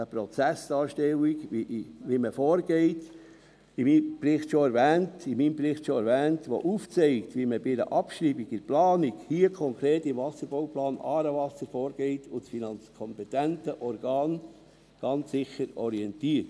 eine Prozessdarstellung – wie vorhergehend in meinem Bericht schon erwähnt –, die aufzeigt, wie man bei einer Abschreibung in der Planung, hier konkret beim Wasserbauplan «Aarewasser», vorgeht und das kompetente Organ ganz sicher orientiert.